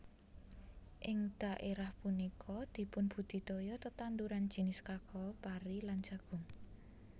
Ing dhaerah punika dipunbudidaya tetanduran jinis kakao pari lan jagung